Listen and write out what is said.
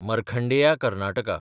Markandeya Karnataka